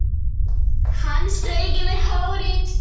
Hann strauk yfir hárið.